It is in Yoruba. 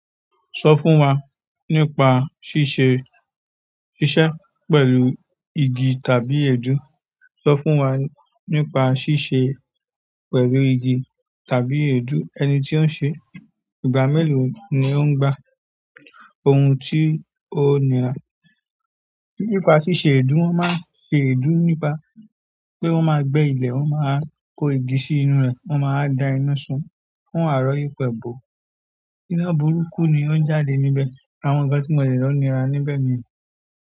Sọ fún wa nípa ṣíṣe, ṣíṣẹ́ pẹ̀lú igi tàbí èédú. Sọ fún wa nípa ṣíṣe pẹ̀lú igi tàbí èédú, ẹni tí ó ń ṣe, ìgbà mélòó ni ó ń gbà, ohun tí ó nira. Nípa ṣíṣe èédú, wọ́n máa ń ṣe èédú nípa pé wọ́n máa gbẹ́ ilẹ̀, wọ́n máa kó igi sí inú rẹ̀, wọ́n máa wa da iná sun wọn waa rọ̀ yípẹ̀ bo. Iná burúkú ni ó ń jáde níbẹ̀. Àwọn nǹkan ti mọ le ni o nira ni bẹ́ẹ̀ ni.